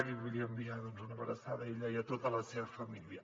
i li vull enviar doncs una abraçada a ella i a tota la seva família